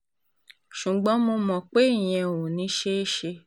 ṣùgbọ́n mo mọ̀ pé ìyẹn ò ní í ṣeé ṣe